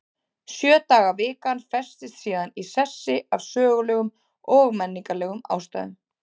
Sjö daga vikan festist síðan í sessi af sögulegum og menningarlegum ástæðum.